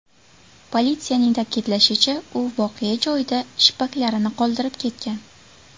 Politsiyaning ta’kidlashicha, u voqea joyida shippaklarini qoldirib ketgan.